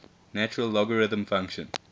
natural logarithm function